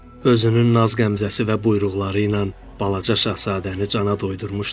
Özünün naz qəmzəsi və buyruqları ilə balaca şahzadəni cana doydurmuşdu.